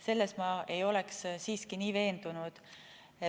Selles ma ei oleks siiski nii veendunud.